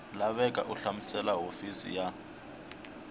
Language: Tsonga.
laveka u hlamusela hofisi ya